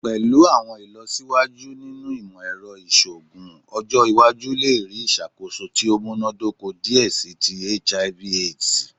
Pẹlu awọn ilọsiwaju ninu imọ-ẹrọ iṣoogun, ọjọ iwaju le rii iṣakoso ti o munadoko diẹ sii ti HIV/AIDS